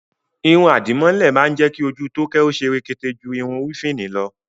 Irun àdìmọ́lẹ̀ má ń jẹ́ kí ojú Tóóké ó ṣe rekete ju irun wéfìnì lọ